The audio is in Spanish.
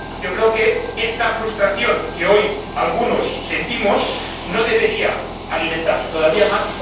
Yo creo que esta frustración que hoy sentimos algunos no debería alimentarse todavía más.